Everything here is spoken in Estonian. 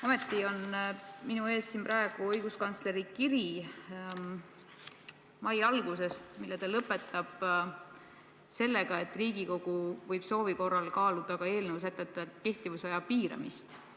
Ometi on praegu siin minu ees õiguskantsleri kiri mai algusest, mille ta lõpetab sellega, et Riigikogu võib soovi korral kaaluda ka eelnõu sätete kehtivusaja piiramist.